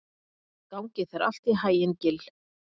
Gangi þér allt í haginn, Gill.